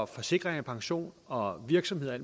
forsikring pension og virksomheder og